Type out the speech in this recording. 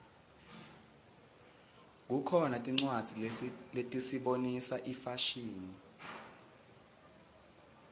kukhona tincwadzi letisibonisa ifashini